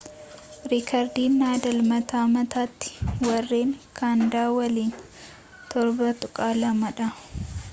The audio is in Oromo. riikardiin nadaal mata mataattii warreen kaanadaa waliin 7-2 dha